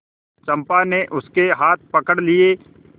चंपा ने उसके हाथ पकड़ लिए